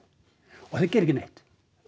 og þeir gera ekki neitt